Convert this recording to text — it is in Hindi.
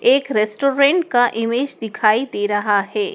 एक रेस्टोरेंट का ईमेज दिखाई दे रहा है।